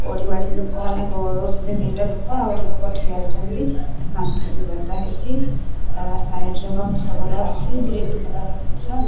ମାନେ ଗୋଳଉଛନ୍ତି ଦିଇଟା ଲୋକ ଆଉ ଗୋଟେ ଲୋକ ଠିଆ ହୋଇଚନ୍ତି ମାଟି ବି ଗଦା ହେଇଚି ସାଇଡ ରେ ଗଛ ଗୁରା ଅଛି ଗ୍ରୀନ କଲର୍ ଗଛ।